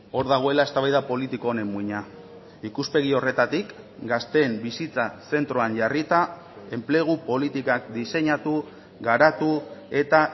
hor dagoela eztabaida politiko honen muina ikuspegi horretatik gazteen bizitza zentroan jarrita enplegu politikak diseinatu garatu eta